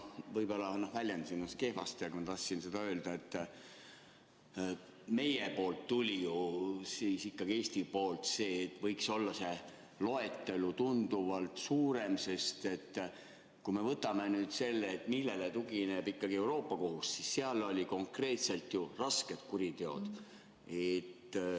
Ma võib-olla väljendasin ennast kehvasti, aga ma tahtsin seda öelda, et Eesti poolt tuli ju ikkagi see, et see loetelu võiks tunduvalt pikem olla, sest kui me võtame nüüd selle, millele tugineb Euroopa Liidu Kohus, siis seal olid konkreetselt ju rasked kuriteod.